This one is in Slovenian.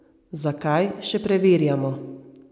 Zakaj, še preverjamo.